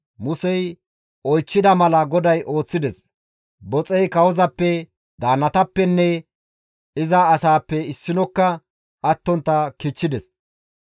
Musey oychchida mala GODAY ooththides; boxey kawozappe, daannatappenne iza asaappe issinokka attontta kichchides.